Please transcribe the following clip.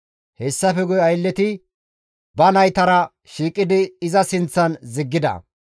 Hessafe guye aylleti ba naytara shiiqidi iza sinththan ziggida.